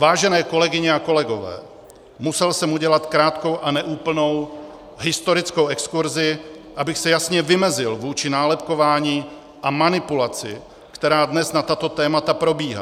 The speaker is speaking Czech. Vážené kolegyně a kolegové, musel jsem udělat krátkou a neúplnou historickou exkurzi, abych se jasně vymezil vůči nálepkování a manipulaci, která dnes na tato témata probíhá.